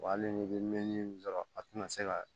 Wa hali n'i bɛ mɛn sɔrɔ a tina se ka